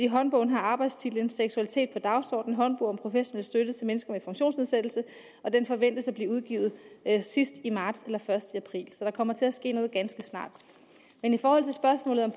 håndbogens arbejdstitel er seksualitet på dagsordenen en håndbog om professionel støtte til mennesker med funktionsnedsættelse og den forventes at blive udgivet sidst i marts eller først i april så der kommer til at ske noget ganske snart men i forhold til spørgsmålet om